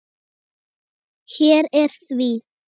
Hér er því.